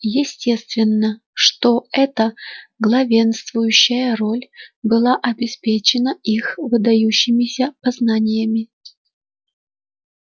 естественно что эта главенствующая роль была обеспечена их выдающимися познаниями